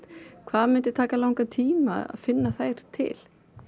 hvað myndi taka langan tíma að finna þær til